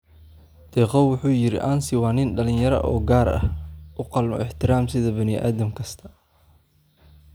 Dekow wuxuu yiri: " Ansi waa nin dhalinyaro ah oo gaar ah oo u qalma ixtiraam sida bani'aadam kasta.